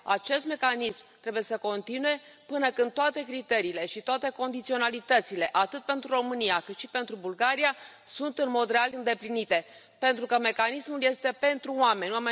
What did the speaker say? Acest mecanism trebuie să continue până când toate criteriile și toate condiționalitățile, atât pentru România, cât și pentru Bulgaria, sunt, în mod real, îndeplinite, pentru că mecanismul este pentru oameni.